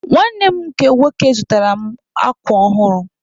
Nwanne m nke nwoke zụtaara mụ akwa ọhụrụ.